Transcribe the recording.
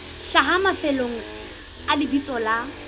hlaha mafelong a lebitso la